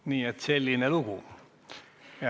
Nii et selline lugu.